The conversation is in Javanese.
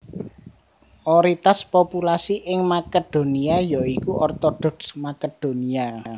Oritas populasi ing Makedonia ya iku Ortodoks Makedonia